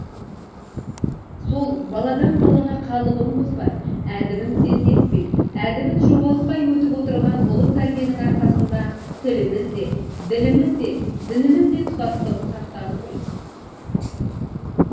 сол баладан балаға қалыбын бұзбай әдібін сетінетпей әдебін жоғалтпай өтіп отырған ұлы тәрбиенің арқасында тіліміз де діліміз де дініміз де тұтастығын сақтады ғой